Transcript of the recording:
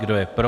Kdo je pro?